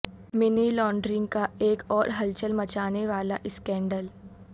منی laundering کا ایک اور ہلچل مچانے والا اسکینڈل